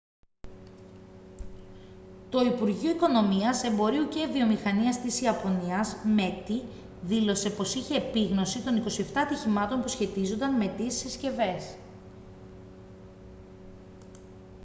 το υπουργείο οικονομίας εμπορίου και βιομηχανίας της ιαπωνίας meti δήλωσε πως είχε επίγνωση των 27 ατυχημάτων που σχετίζονταν με τις συσκευές